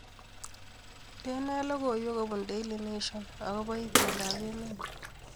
Indenee logoiwek kobun Daily Nation akobo itondoab emet